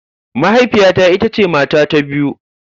Mahaifiyata ita ce mata ta biyu.